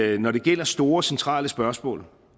vi når det gælder store centrale spørgsmål